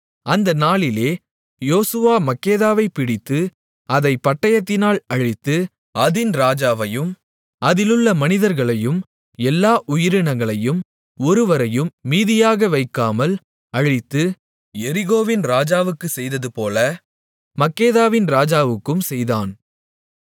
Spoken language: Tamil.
அந்த நாளிலே யோசுவா மக்கெதாவைப் பிடித்து அதைப் பட்டயத்தினால் அழித்து அதின் ராஜாவையும் அதிலுள்ள மனிதர்களையும் எல்லா உயிரினங்களையும் ஒருவரையும் மீதியாக வைக்காமல் அழித்து எரிகோவின் ராஜாவுக்குச் செய்ததுபோல மக்கெதாவின் ராஜாவுக்கும் செய்தான்